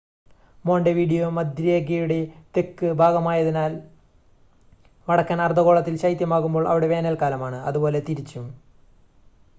Montevideo മധ്യരേഖയുടെ തെക്ക് ഭാഗമായതിനാൽ വടക്കൻ അർധഗോളത്തിൽ ശൈത്യമാകുമ്പോൾ അവിടെ വേനൽക്കാലമാണ് അതുപോലെ തിരിച്ചും